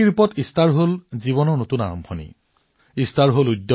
প্ৰতীকাত্মক অৰ্থত ইষ্টাৰ জীৱনৰ নতুন আৰম্ভণিৰ সৈতে জড়িত